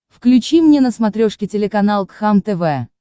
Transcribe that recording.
включи мне на смотрешке телеканал кхлм тв